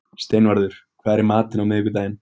Steinvarður, hvað er í matinn á miðvikudaginn?